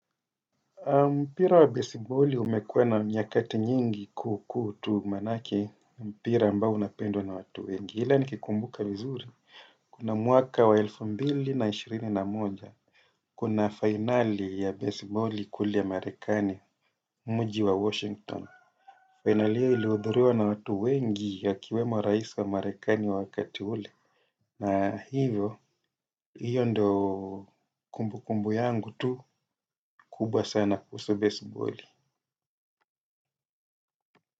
Mpira wa baseboli umekuwa na nyakati nyingi kukutu manake mpira ambao unapendwa na watu wengi. Ila nikikumbuka vizuri, kuna mwaka wa elfu mbili na ishirini na moja, kuna finali ya baseboli kule marikani, mji wa Washington. Finali hiyo ilhudhuriwa na watu wengi wakiiwemo rais wa marekani wakati ule. Na hivyo, hiyo ndo kumbukumbu yangu tu kubwa sana kuhusu baseballi.